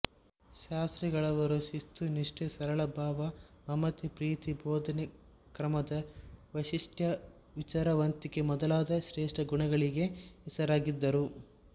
ಶಾಸ್ತ್ರಿಗಳವರು ಶಿಸ್ತು ನಿಷ್ಠೆ ಸರಳ ಭಾವ ಮಮತೆ ಪ್ರೀತಿ ಬೋಧನಾ ಕ್ರಮದ ವೈಶಿಷ್ಟ್ಯ ವಿಚಾರವಂತಿಕೆ ಮೊದಲಾದ ಶ್ರೇಷ್ಠ ಗುಣಗಳಿಗೆ ಹೆಸರಾಗಿದ್ದರು